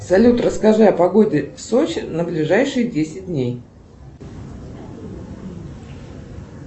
салют расскажи о погоде в сочи на ближайшие десять дней